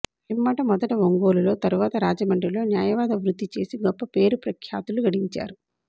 పిమ్మట మొదట ఒంగోలులో తరువాత రాజమండ్రిలో న్యాయవాద వృత్తి చేసి గొప్ప పేరు ప్రఖ్యాతులు గడించారు